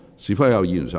是否有議員想發言？